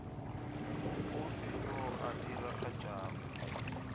o fe yo a diragatšago